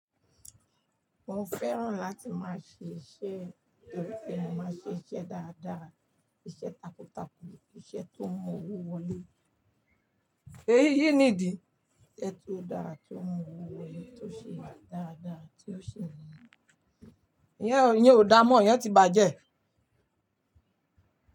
Mo fẹ́ràn láti máa ṣe iṣẹ́, kí n lè máa ṣe iṣẹ́ dáadáa, iṣẹ́ takuntakun, iṣẹ́ tó n mu owó wọlé. Èyí nìdí? Iṣẹ́ tó dára, tó mu owó wọlé, tó ṣe dáadáa, tí ó ṣi ní. Ìyẹn ò dáa mọ́, ìyẹn ti bàjẹ́.